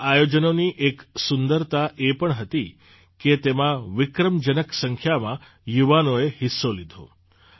આ આયોજનોની એક સુંદરતા એ પણ હતી કે તેમાં વિક્રમજનક સંખ્યામાં યુવાનોએ હિસ્સો લીધો